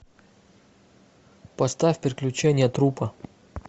поставь приключения трупа